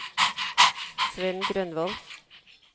Svend Grønvold